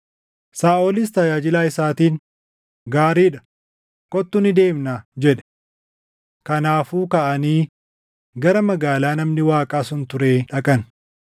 Saaʼolis tajaajilaa isaatiin, “Gaarii dha; kottu ni deemnaa” jedhe. Kanaafuu kaʼanii gara magaalaa namni Waaqaa sun turee dhaqan.